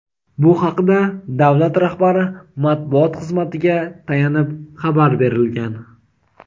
Bu haqda davlat rahbari matbuot xizmatiga tayanib xabar berilgan.